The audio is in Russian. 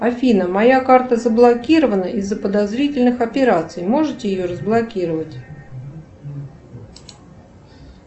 афина моя карта заблокирована из за подозрительных операций можете ее разблокировать